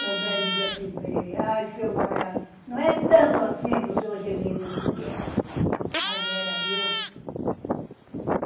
E o médico diz assim para ele, Ai seu não é tanto assim para o senhor gemer desse jeito, mas era, viu?